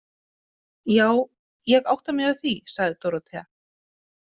Já, ég átta mig á því, sagði Dórótea.